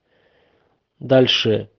дальше